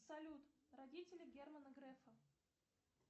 салют родители германа грефа